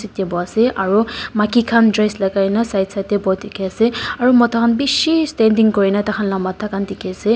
Tey bohe ase aro maki khan dress lakai kena side side tey bohe dekhe ase aro mota khan beshe standing kurena taikhan la matha dekhe ase.